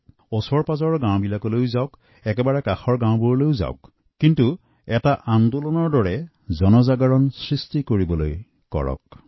সমীপত বস্তি এলেকা গাঁৱলৈ যাওঁক কিন্তু এয়া এক অভিযান হিচাপে লওঁক